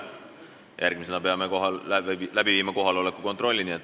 Järgmisena teeme kohaloleku kontrolli.